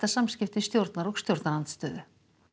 samskipti stjórnar og stjórnarandstöðu